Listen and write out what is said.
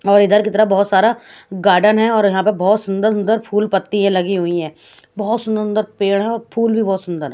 और इधर की तरह बहत सारा गार्डन है और यहाँ पे बहत सुन्दर सुन्दर फूल पत्ती लगी हुई है बहत सुन्दर सुन्दर पेड़ है और फूल भी बहत सुन्दर है।